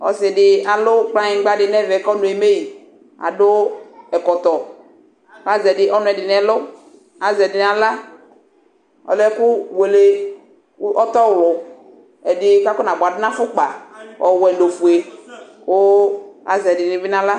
Ɔsɩdɩ alʊ kplanyigbadɩ nʊ ɛvɛ kʊ ɔnʊ eme adʊ ɛkɔtɔ azɛvɩ ɔnʊ ɛdɩnɩ nʊ ɛlʊ kʊ azɛ ɛdɩ nʊ axla ɔlɛ ɛkʊ wele ɔtɔwlʊ ɛdɩ kʊ akɔnabuadu nʊ afʊkpa ɔwɛ nʊ ɔfʊe kʊ azɛ ɛdɩnɩ bɩ nʊ axla